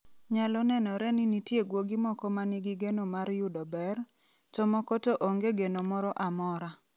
Nyalo nenore ni nitie guogi moko ma nigi geno mar yudo ber, to moko to onge geno moro amora.